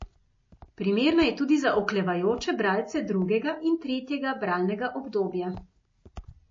Primerna je tudi za oklevajoče bralce drugega in tretjega bralnega obdobja.